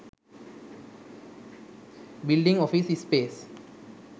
building office space